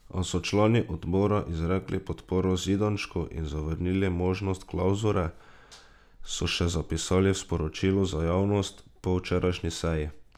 A so člani odbora izrekli podporo Zidanšku in zavrnili možnost klavzure, so še zapisali v sporočilu za javnost po včerajšnji seji.